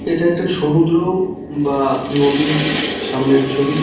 এটা একটা সমুদ্র বা নদীর সামনের ছবি।